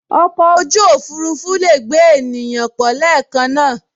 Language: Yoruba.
Oko oju ofurufu lee gbe eniyan to po leekan naa